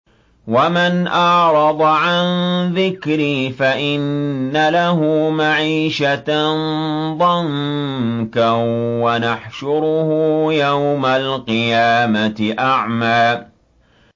وَمَنْ أَعْرَضَ عَن ذِكْرِي فَإِنَّ لَهُ مَعِيشَةً ضَنكًا وَنَحْشُرُهُ يَوْمَ الْقِيَامَةِ أَعْمَىٰ